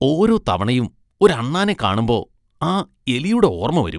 ഓരോ തവണയും ഒരു അണ്ണാനെ കാണുമ്പോ, ആ എലിയുടെ ഓർമ്മ വരും.